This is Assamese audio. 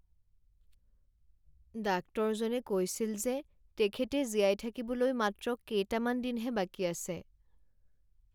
ডাক্তৰজনে কৈছিল যে তেখেতে জীয়াই থাকিবলৈ মাত্ৰ কেইটামান দিনহে বাকী আছে।